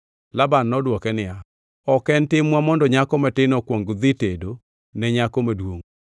Laban nodwoke niya, “Ok en timwa mondo nyako matin okuong odhi tedo ne nyako maduongʼ.